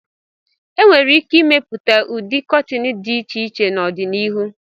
E nwere ike ịmepụta ụdị kọtịn dị iche iche n'ọdịnihu.